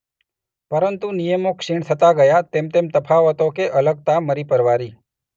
પરંતુ નિયમો ક્ષીણ થતા ગયા તેમતેમ તફાવતો કે અલગતા મરી પરવારી.